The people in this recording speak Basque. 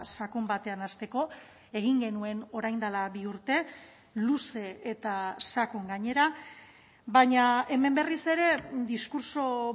sakon batean hasteko egin genuen orain dela bi urte luze eta sakon gainera baina hemen berriz ere diskurtso